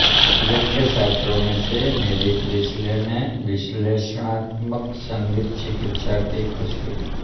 Alvin के छात्रों में से एक मेरी प्रीसले ने विश्लेषणात्मक संगीत चिकित्सा की खोज की